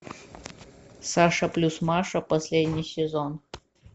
саша плюс маша последний сезон